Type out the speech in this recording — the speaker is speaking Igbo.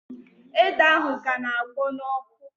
Ede ahụ ka na-agbọ n'ọkụ